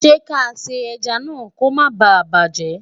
ṣé kà sá ejá nà kò má bá bajẹ?